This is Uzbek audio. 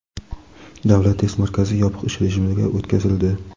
Davlat test markazi yopiq ish rejimiga o‘tkazildi.